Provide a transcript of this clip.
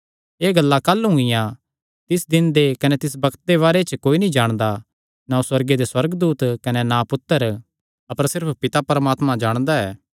एह़ गल्लां काह़लू हुंगिया तिस दिन दे कने तिस बग्त दे बारे च कोई नीं जाणदा ना सुअर्गे दे सुअर्गदूत कने ना पुत्तर अपर सिर्फ पिता जाणदा ऐ